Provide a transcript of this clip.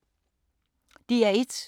DR1